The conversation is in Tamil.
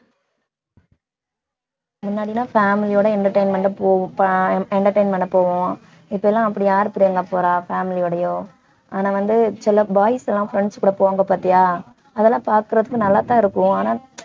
முன்னாடி எல்லாம் family யோட entertain ஆ போவோ~ ப~ entertain பண்ண போவோம் இப்பெல்லாம் அப்படி யாரு பிரியங்கா போறா family யோடயோ ஆனா வந்து சில boys எல்லாம் friends கூட போவாங்க பாத்தியா அதெல்லாம் பாக்கறதுக்கு நல்லாத்தான் இருக்கும் ஆனா